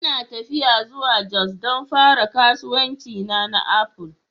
Ina tafiya zuwa jos don fara kasuwancina na Apple